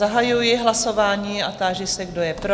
Zahajuji hlasování a táži se, kdo je pro?